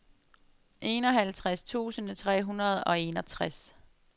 enoghalvtreds tusind tre hundrede og enogtres